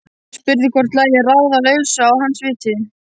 Spurði hvort lægju ráð á lausu að hans viti.